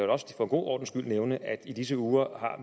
også for god ordens skyld nævne at i disse uger